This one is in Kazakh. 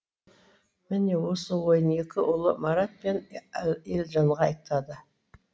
міне осы ойын екі ұлы марат пен елжанға айтады